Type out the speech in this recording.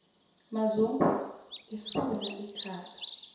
mazungu esula ikhala